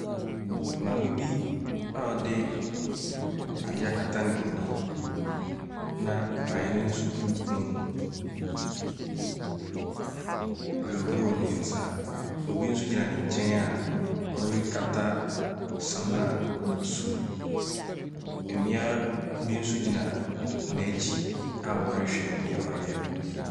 Maame bi a ɔde ade akata ne hwene na awene nso gu ne kɔn mu rehohoro ne nsa. Obi nso gyina ne nkyɛn a ɛrekata samina so. Mmea bi nso gyina n’akyi a wɔrehwɛ nea ɔreyɛ no.